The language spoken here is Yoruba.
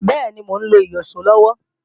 Bẹ́ẹ̀ni, mò ń lo ìyíṣòó lọ́wọ́